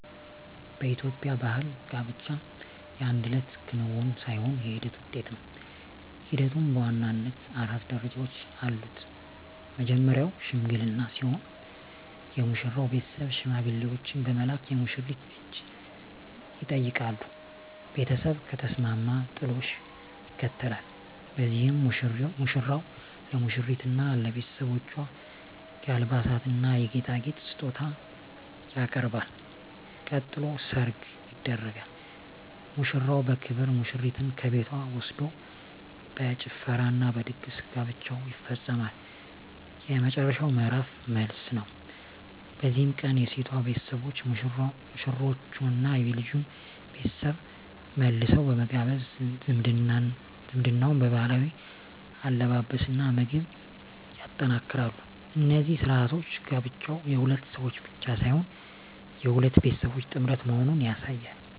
በኢትዮጵያ ባሕል ጋብቻ የአንድ እለት ክንውን ሳይሆን የሂደት ውጤት ነው። ሂደቱም በዋናነት አራት ደረጃዎች አሉት። መጀመርያው "ሽምግልና" ሲሆን፣ የሙሽራው ቤተሰብ ሽማግሌዎችን በመላክ የሙሽሪትን እጅ ይጠይቃሉ። ቤተሰብ ከተስማማ "ጥሎሽ" ይከተላል፤ በዚህም ሙሽራው ለሙሽሪትና ለቤተሰቦቿ የአልባሳትና የጌጣጌጥ ስጦታ ያቀርባል። ቀጥሎ "ሰርግ" ይደረጋል፤ ሙሽራው በክብር ሙሽሪትን ከቤቷ ወስዶ በጭፈራና በድግስ ጋብቻው ይፈጸማል። የመጨረሻው ምዕራፍ "መልስ" ነው። በዚህ ቀን የሴቷ ቤተሰቦች ሙሽሮቹንና የልጁን ቤተሰብ መልሰው በመጋበዝ ዝምድናውን በባህላዊ አለባበስና ምግብ ያጠናክራሉ። እነዚህ ሥርዓቶች ጋብቻው የሁለት ሰዎች ብቻ ሳይሆን የሁለት ቤተሰቦች ጥምረት መሆኑን ያሳያሉ።